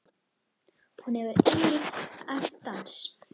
Hún hefur einnig æft dans.